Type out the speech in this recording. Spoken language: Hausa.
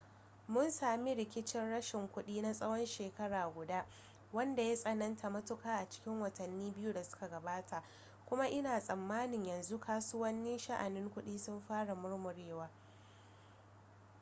mun sami rigicin rashin kuɗi na tsawon shekara guda wanda ya tsananta matuka a cikin watanni biyu da suka gabata kuma ina tsammanin yanzu kasuwannin sha'anin kuɗi sun fara murmurewa